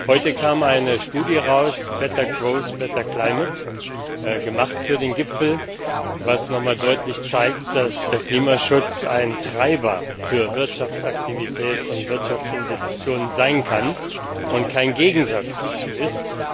Heute kam eine Studie heraus Better Growth, better Climate gemacht für den Gipfel, die noch einmal deutlich zeigt, dass der Klimaschutz ein Treiber für Wirtschaftsaktivität und Wirtschaftsinvestitionen sein kann und kein Gegensatz dazu ist.